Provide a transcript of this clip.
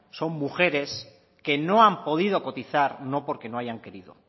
son mujeres que no han podido cotizar no porque no hayan querido